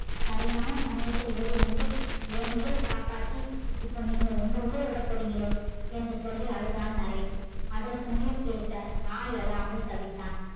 சரியான சமயத்தில் ஓடி வந்து என் உயிர காப்பாத்தி இப்ப நீங்க உங்க உயிர உட போறீங்கலே என்று சொல்லி அழுதான் நரேன். அதற்கு மேல் பேச நா அழாமல் தவித்தான்.